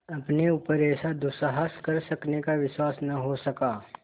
अपने ऊपर ऐसा दुस्साहस कर सकने का विश्वास न हो सका